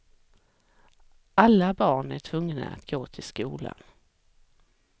Alla barn är tvungna att gå till skolan.